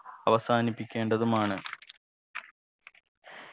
അവസാനിപ്പിക്കേണ്ടതുമാണ്